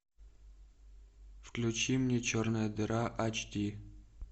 включи мне черная дыра айч ди